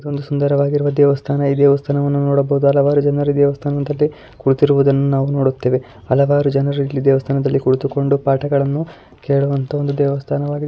ಇದೊಂದು ಸುಂದರವಾಗಿರುವ ದೇವಸ್ಥಾನ ಈ ದೇವಸ್ಥಾನವನ್ನು ನೋಡಬಹುದು ಹಲವಾರು ಜನರು ಈ ದೇವಸ್ಥಾನದಲ್ಲಿ ಕುಳಿತಿರುವುದನ್ನು ನಾವು ನೋಡುತ್ತೇವೆ ಹಲವಾರು ಜನರು ಇಲ್ಲಿ ದೇವಸ್ಥಾನದಲ್ಲಿ ಕುಳಿತುಕೊಂಡು ಪಾಠಗಳನ್ನು ಕೇಳುವಂತಹ ಒಂದು ದೇವಸ್ಥಾನವಾಗಿದೆ.